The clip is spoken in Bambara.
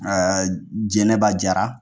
Aa jɛnɛba jara